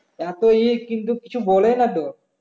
এত ইয়ে কিন্তু কিছু বলে তো